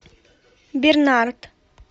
бернард